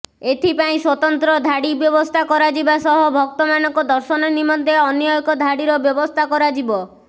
ଏଥିପାଇଁ ସ୍ୱତନ୍ତ୍ର ଧାଡି ବ୍ୟବସ୍ଥା କରାଯିବା ସହ ଭକ୍ତମାନଙ୍କ ଦର୍ଶନ ନିମନ୍ତେ ଅନ୍ୟଏକ ଧାଡିର ବ୍ୟବସ୍ଥା କରାଯିବ